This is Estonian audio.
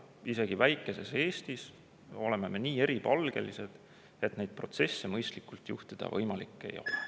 Isegi väikeses Eestis me oleme nii eripalgelised, et ilma kohalikke olusid tundmata neid protsesse mõistlikult juhtida võimalik ei ole.